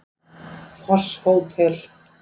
Fosshótel